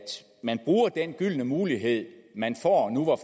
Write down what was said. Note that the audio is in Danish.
man bruger den gyldne mulighed man